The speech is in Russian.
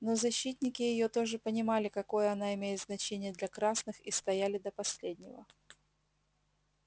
но защитники её тоже понимали какое она имеет значение для красных и стояли до последнего